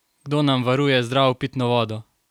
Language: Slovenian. Kdo nam varuje zdravo pitno vodo?